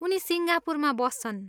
उनी सिङ्गापुरमा बस्छन्।